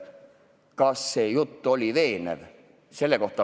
Kas see jutt oli veenev?